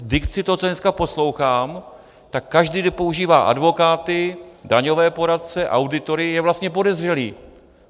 V dikci to, co dneska poslouchám, tak každý, kdo používá advokáty, daňové poradce, auditory, je vlastně podezřelý.